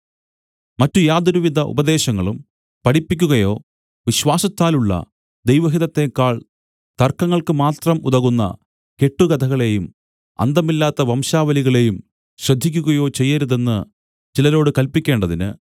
മറ്റു യാതൊരുവിധ ഉപദേശങ്ങളും പഠിപ്പിക്കുകയോ വിശ്വാസത്താലുള്ള ദൈവഹിതത്തേക്കാൾ തർക്കങ്ങൾക്ക് മാത്രം ഉതകുന്ന കെട്ടുകഥകളെയും അന്തമില്ലാത്ത വംശാവലികളെയും ശ്രദ്ധിക്കുകയോ ചെയ്യരുതെന്ന് ചിലരോട് കല്പിക്കേണ്ടതിന്